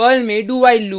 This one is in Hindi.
पर्ल में dowhile लूप